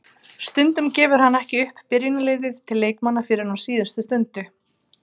Stundum gefur hann ekki upp byrjunarliðið til leikmanna fyrr en á síðustu stundu.